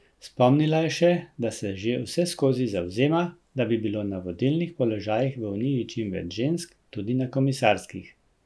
Spomnila je še, da se že vseskozi zavzema, da bi bilo na vodilnih položajih v uniji čim več žensk, tudi na komisarskih.